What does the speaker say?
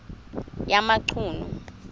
yamachunu